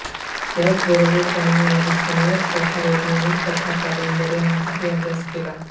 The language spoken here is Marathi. त्याच बरोबर त्यांनी रहस्यमय कथा वैज्ञानिक कथा कादंबऱ्या यांचाही अभ्यास केला